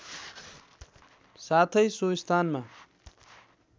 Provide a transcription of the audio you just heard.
साथै सो स्थानमा